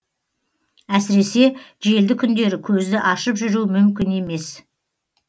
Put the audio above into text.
әсіресе желді күндері көзді ашып жүру мүмкін емес